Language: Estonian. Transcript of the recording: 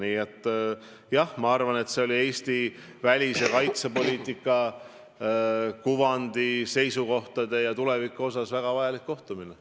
Nii et ma arvan, et see oli Eesti välis- ja kaitsepoliitika kuvandi, seisukohtade ja tuleviku vaatevinklist väga vajalik kohtumine.